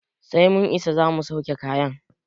Sai mun isa zamu sauke kayan